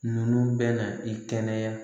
Ninnu bɛna i kɛnɛya